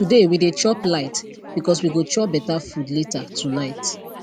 today we dey chop light because we go chop better food later tonight